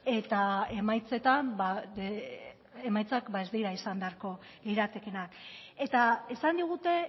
eta emaitzetan emaitzak ez dira izan beharko liratekeenak eta esan digute